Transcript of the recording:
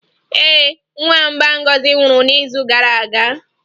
Ee, nwamba Ngozi nwụrụ n'izu gara aga